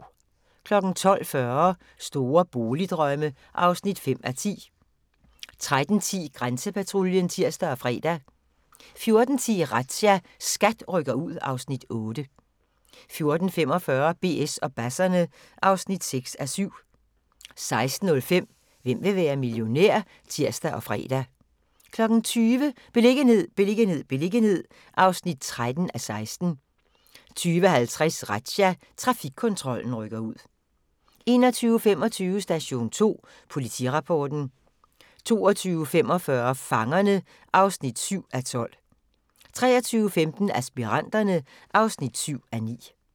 12:40: Store boligdrømme (5:10) 13:10: Grænsepatruljen (tir og fre) 14:10: Razzia – SKAT rykker ud (Afs. 8) 14:45: BS og basserne (6:7) 16:05: Hvem vil være millionær? (tir og fre) 20:00: Beliggenhed, beliggenhed, beliggenhed (13:16) 20:50: Razzia – Trafikkontrollen rykker ud 21:25: Station 2 Politirapporten 22:45: Fangerne (7:12) 23:15: Aspiranterne (7:9)